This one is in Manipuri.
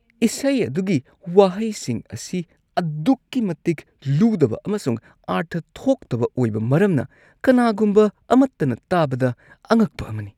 ꯏꯁꯩ ꯑꯗꯨꯒꯤ ꯋꯥꯍꯩꯁꯤꯡ ꯑꯁꯤ ꯑꯗꯨꯛꯀꯤ ꯃꯇꯤꯛ ꯂꯨꯗꯕ ꯑꯃꯁꯨꯡ ꯑꯥꯔꯊ ꯊꯣꯛꯇꯕ ꯑꯣꯏꯕ ꯃꯔꯝꯅ ꯀꯅꯥꯒꯨꯝꯕ ꯑꯃꯠꯇꯅ ꯇꯥꯕꯗ ꯑꯉꯛꯄ ꯑꯃꯅꯤ꯫